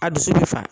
A dusu bɛ fa